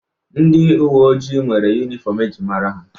Ndi uwe ojii nwere yuniform e ji mara ha.